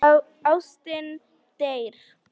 Ástin deyr.